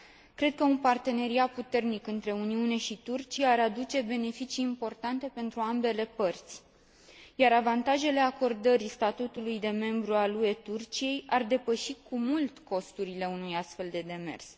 Cred că un parteneriat puternic între Uniunea Europeană și Turcia ar aduce beneficii importante pentru ambele părți, iar avantajele acordării statutului de membru al UE Turciei ar depăși cu mult costurile unui astfel de demers.